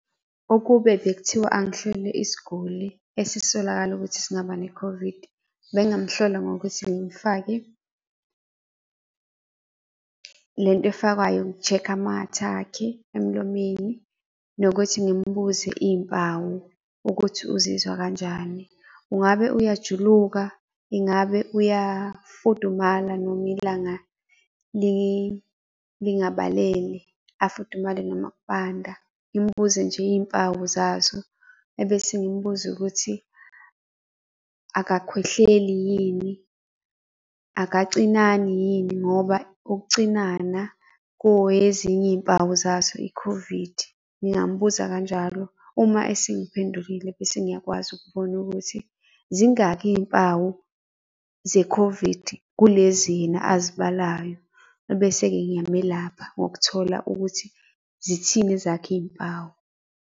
Ukube bekuthiwa angihlole isiguli esisolakala ukuthi singaba ne-COVID, bengamuhlola ngokuthi ngimufake lento efakwayo uk-check-a amathe akhe emlomeni, nokuthi ngimbuze iy'mpawu ukuthi uzizwa kanjani? Ungabe uyajuluka? Ingabe uyafudumala noma ilanga lingabalele? Afudumale noma kubanda? Ngimbuze nje iy'mpawu zazo. Ebese ngimbuze ukuthi, akakhwehleli yini? Akacinani yini? Ngoba ukucinana kuyezinye iy'mpawu zazo i-COVID, ngingambuza kanjalo. Uma esengiphendulile bese ngiyakwazi ukubona ukuthi zingaki iy'mpawu ze-COVID kulezi yena azibalayo? Ebese-ke ngiyamelapha ngokuthola ukuthi zithini ezakhe iy'mpawu?